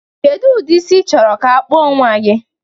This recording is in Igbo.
Kedu ụdị isi ichọrọ ka a kpụọ nnwa gị?